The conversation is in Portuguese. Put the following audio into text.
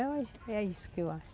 acho que é isso que eu acho.